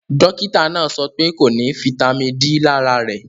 Dọkìtà náà sọ̀ pẹ̀ kò ní fítamì D lárà rè